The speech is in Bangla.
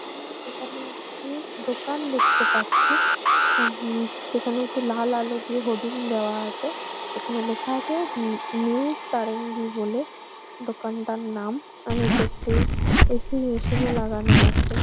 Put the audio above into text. আমি এখানে একটি দোকান দেখতে পাচ্ছি উ যেখানে লাল আলো দিয়ে হোডিং দেওয়া আছে। যেখানে লেখা আছে নিউ সারেঙ্গী বলে। দোকানটার নাম আর নীচে একটি এ. সি. মেশিন ও লাগানো আছে ।